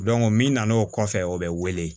min nana o kɔfɛ o bɛ wele